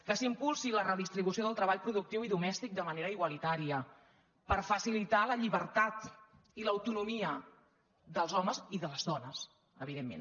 que s’impulsi la redistribució del treball productiu i domèstic de manera igualitària per facilitar la lliber·tat i l’autonomia dels homes i de les dones evident·ment